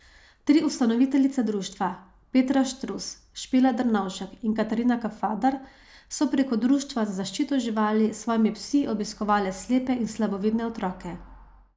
Tri ustanoviteljice društva, Petra Štrus, Špela Drnovšek in Katarina Kafadar so preko Društva za zaščito živali s svojimi psi obiskovale slepe in slabovidne otroke.